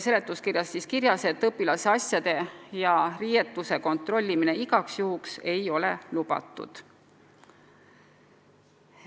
Seletuskirjas on ka kirjas, et õpilase asjade ja riiete kontrollimine igaks juhuks ei ole lubatud.